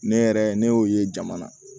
Ne yɛrɛ ne y'o ye jama na